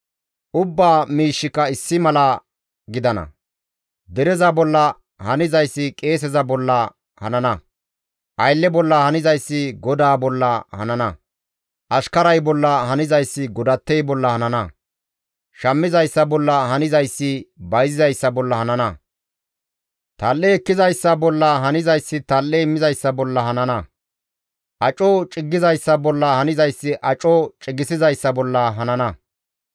Ubbaa miishshika issi mala gidana; dereza bolla hanzayssi qeeseza bolla hanana; aylle bolla hanzayssi godaa bolla hanana; ashkaray bolla hanzayssi godattey bolla hanana; shammizayssa bolla hanzayssi bayzizayssa bolla hanana; tal7e ekkizayssa bolla hanzayssi tal7e immizayssa bolla hanana; aco ciggizayssa bolla hanzayssi aco cigissizayssa bolla hanana.